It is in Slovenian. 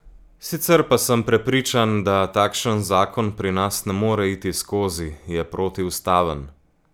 Sicer pa sem prepričan, da takšen zakon pri nas ne more iti skozi, je protiustaven.